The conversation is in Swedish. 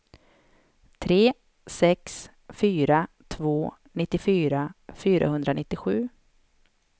tre sex fyra två nittiofyra fyrahundranittiosju